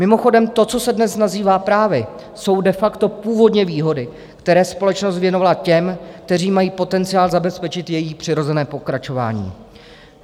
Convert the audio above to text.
Mimochodem, to, co se dnes nazývá právy, jsou de facto původně výhody, které společnost věnovala těm, kteří mají potenciál zabezpečit její přirozené pokračování.